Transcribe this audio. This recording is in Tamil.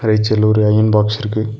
எட்ஜ்ல ஒரு அயன் பாக்ஸ் இருக்கு.